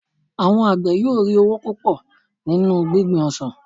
àwọn àgbẹ yíò ri owo púpò nínú gbingbin ọsàn